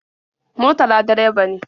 Murtala direba ne.